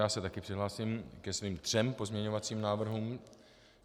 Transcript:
Já se taky přihlásím ke svým třem pozměňovacím návrhům.